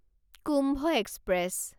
Kumbh express